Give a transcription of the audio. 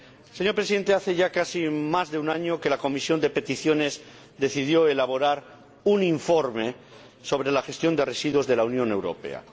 Señor Presidente, hace ya casi más de un año que la Comisión de Peticiones decidió elaborar un informe sobre la gestión de residuos de la Unión Europea.